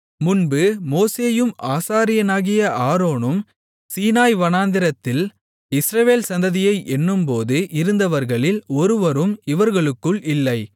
முன்பு மோசேயும் ஆசாரியனாகிய ஆரோனும் சீனாய் வனாந்திரத்தில் இஸ்ரவேல் சந்ததியை எண்ணும்போது இருந்தவர்களில் ஒருவரும் இவர்களுக்குள் இல்லை